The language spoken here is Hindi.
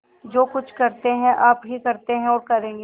जो कुछ करते हैं आप ही करते हैं और करेंगे